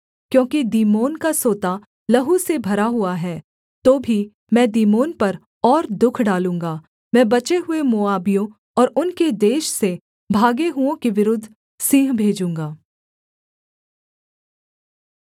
क्योंकि दीमोन का सोता लहू से भरा हुआ है तो भी मैं दीमोन पर और दुःख डालूँगा मैं बचे हुए मोआबियों और उनके देश से भागे हुओं के विरुद्ध सिंह भेजूँगा